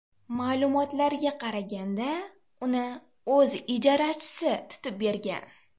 Ma’lumotlarga qaraganda, uni o‘z ijarachisi tutib bergan.